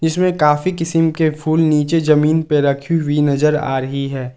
इसमें काफी किस्म के फूल नीचे जमीन पर रखी हुई नजर आ रही है।